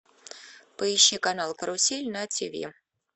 поищи канал карусель на тв